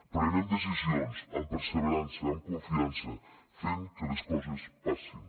prenem decisions amb perseverança amb confiança fent que les coses passin